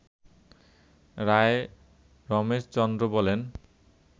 রায় রমেশ চন্দ্র বলেন